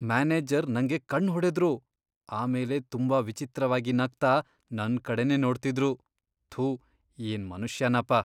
Manager ನಂಗೆ ಕಣ್ಣ್ ಹೊಡುದ್ರು, ಆಮೇಲೆ ತುಂಬಾ ವಿಚಿತ್ರವಾಗಿ ನಗ್ತಾ ನನ್ಕಡೆನೇ ನೋಡ್ತಿದ್ರು.. ಥು, ಏನ್ ಮನುಷ್ಯನಪ.